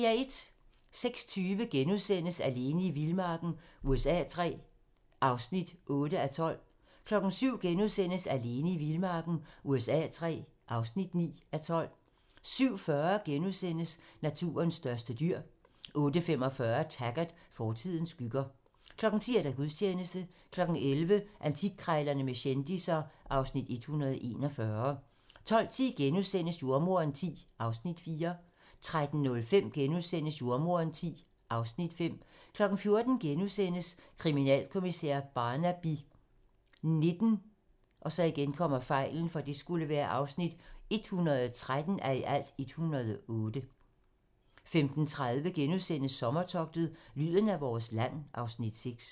06:20: Alene i vildmarken USA III (8:12)* 07:00: Alene i vildmarken USA III (9:12)* 07:40: Naturens største dyr * 08:45: Taggart: Fortidens skygger 10:00: Gudstjeneste 11:00: Antikkrejlerne med kendisser (Afs. 141) 12:10: Jordemoderen X (Afs. 4)* 13:05: Jordemoderen X (Afs. 5)* 14:00: Kriminalkommissær Barnaby XIX (113:108)* 15:30: Sommertogtet - lyden af vores land (Afs. 6)*